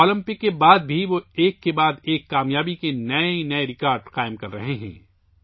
Olympics کے بعد بھی وہ ایک کے بعد ایک کامیابی کے نئے ریکارڈ بنا رہے ہیں